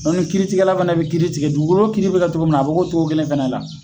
Dɔnku ni kiiritigɛla fɛnɛ be kiiri tigɛ dugukolo kiiri be kɛ togo min na a be kɛ o togo kelen fɛnɛ la